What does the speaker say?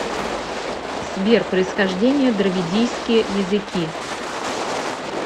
сбер происхождение дравидийские языки